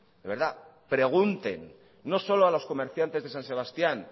de verdad pregunten no solo a los comerciantes de san sebastían